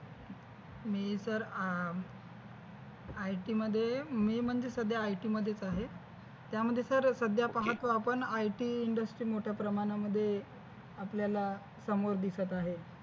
मी तर आह IT मध्ये मी म्हणजे सध्या IT मध्येच आहे त्यामध्ये सर सध्या पाहतो आपण IT industry मोठ्या प्रमाणामध्ये आपल्याला समोर दिसत आहे.